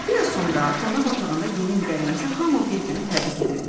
Biraz sonra qonaq otağında yeni il gəlməsini hamı bir-birini təbrik edirdi.